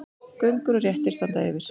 Göngur og réttir standa yfir.